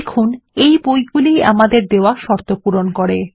দেখুন এই বইগুলি ই আমাদের দেওয়া শর্ত পূরণ করে